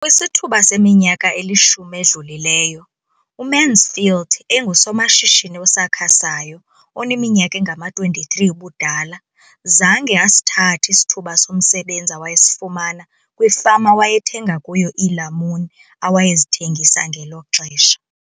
Kwisithuba seminyaka elishumi edlulileyo, uMansfield engusomashishini osakhasayo oneminyaka engama-23 ubudala, zange asithathe isithuba somsebenzi awayesifumana kwifama awayethenga kuyo iilamuni awayezithengisa ngelo xesha.